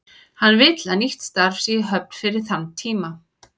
Hann vill að nýtt starf sé í höfn fyrir þann tíma.